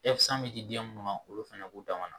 bɛ di den munnu ma, olu fana b'u dama na